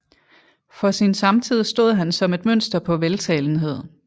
For sin samtid stod han som et mønster på veltalenhed